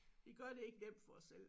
Vi gør det ikke nemt for os selv